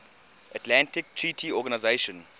atlantic treaty organisation